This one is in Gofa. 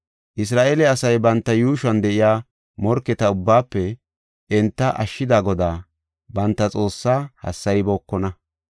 Isra7eele asay banta yuushuwan de7iya morketa ubbaafe enta ashshida Godaa banta Xoossaa hassaybookona.